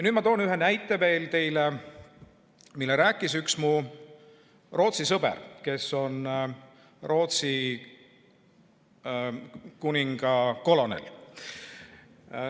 Nüüd ma toon teile ühe näite veel, mille rääkis mulle üks mu Rootsi sõber, kes on Rootsi kuninga kolonel.